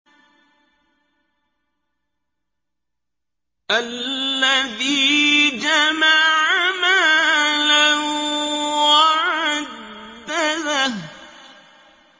الَّذِي جَمَعَ مَالًا وَعَدَّدَهُ